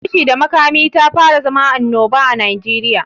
Fashi da makami tafara zama anoba a Najeriya.